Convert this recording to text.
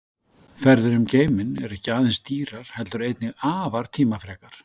Ferðir um geiminn eru ekki aðeins dýrar heldur einnig afar tímafrekar.